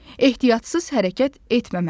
Ehtiyatsız hərəkət etməməli.